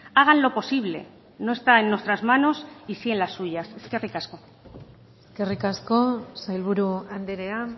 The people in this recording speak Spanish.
háganlo posible no está en nuestras manos y sí en las suyas eskerrik asko eskerrik asko sailburu andrea